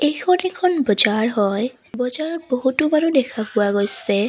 এইখন এখন বজাৰ হয় বজাৰত বহুতো মানুহ দেখা পোৱা গৈছে।